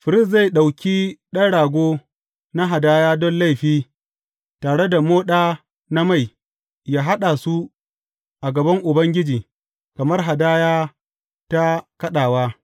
Firist zai ɗauki ɗan rago na hadaya don laifi tare da moɗa na mai, ya kaɗa su a gaban Ubangiji kamar hadaya ta kaɗawa.